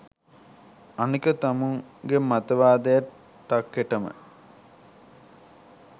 අනික තමුන්ගෙ මතවාදය ටක්කෙටම